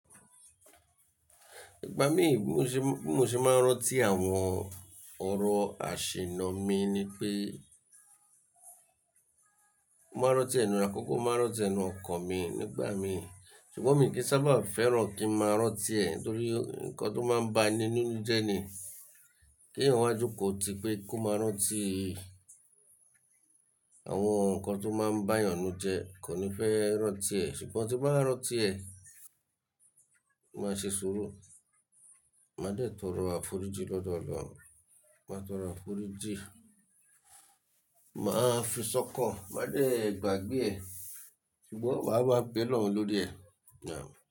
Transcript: Ìgbà mí bí mo ṣe, bí mo ṣe máa ń rántí àwọn ọ̀rọ̀ àṣìnnà mi ni pé, máa rántí ẹnu àkọ́kọ́ máa rántí enu ọkan mi nígbà mí. Ṣùgbọ́n mi kì í sábà fẹ́ràn kí n máa rántí ẹ̀ nitorí nǹkan tó máa ń bá eni nínú jẹ ni. Kí eeyan wá jokò ti pé kó máa rántí i. Àwọn nǹkan tó máa ń bá eeyàn nú jẹ kò ní fẹ́ rántí ẹ̀. Ṣùgbọ́n tí bàá rántí ẹ̀, màá ṣe sùúrù. Màá dẹ̀ torọ àforíjì lọ́dọ̀ Ọlọ́run. Màá torọ àforíjì, màá fìṣọ́kàn, màá dẹ̀ gbàgbé ẹ̀, ṣùgbọ́n màá máa bẹ́ Olọ́run lórí ẹ̀.